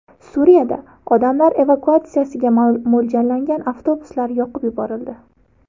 Suriyada odamlar evakuatsiyasiga mo‘ljallangan avtobuslar yoqib yuborildi.